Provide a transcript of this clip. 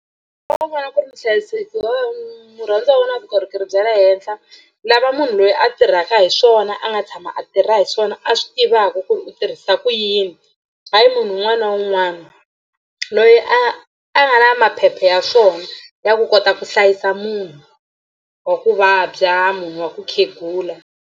Wa vona ku ri muhlayiseki wa murhandziwa wa wena u na vukorhokeri bya le henhla lava munhu loyi a tirhaka hi swona a nga tshama a tirha hi swona a swi tivaka ku ri u tirhisa ku yini hayi munhu un'wana na un'wana loyi a a nga na maphepha ya swona ya ku kota ku hlayisa munhu wa ku vabya munhu wa ku khegula.